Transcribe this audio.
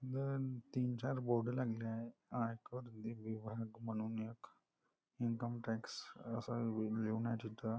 दोन तीन चार बोर्ड लागली आहेत आयकर लिव विभाग म्हणून एक इन्कम टॅक्स अस लिहून आहे तिथ.